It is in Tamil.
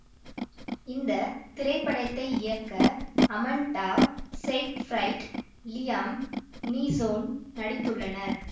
இந்த திரைப்படத்தை இயக்க அமண்டா செய்ஃபிரைட் லியம் நீசோன் நடித்துள்ளார்கள்